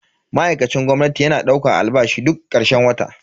Ma'aikacin gwamnati yana daukan albashi duk karshen wata.